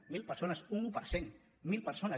a mil persones un un per cent mil persones